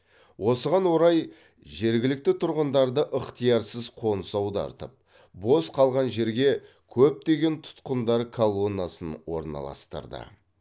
осыған орай жергілікті тұрғындарды ықтиярсыз қоныс аудартып бос қалған жерге көптеген тұтқындар колоннасын орналастырды